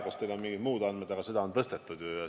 Vahest teil on mingid muud andmed, aga minu teada seda on tõstetud.